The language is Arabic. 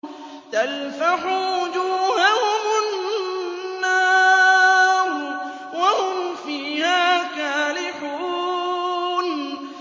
تَلْفَحُ وُجُوهَهُمُ النَّارُ وَهُمْ فِيهَا كَالِحُونَ